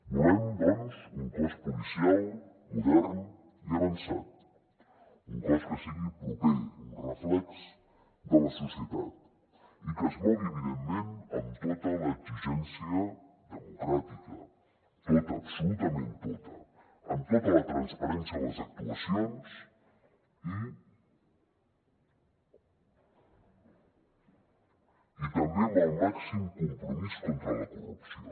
volem doncs un cos policial modern i avançat un cos que sigui proper un reflex de la societat i que es mogui evidentment amb tota l’exigència democràtica tota absolutament tota amb tota la transparència en les actuacions i també amb el màxim compromís contra la corrupció